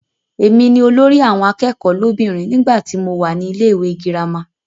Èmi ni olórí àwọn akẹ́kọ̀ọ́ lóbìnrin nígbàtí mo wà ní ilé-ìwé girama.